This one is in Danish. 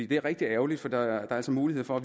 det er rigtig ærgerligt for der er altså mulighed for